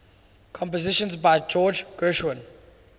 compositions by george gershwin